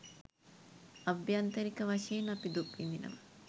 අභ්‍යන්තරික වශයෙන් අපි දුක් විඳිනවා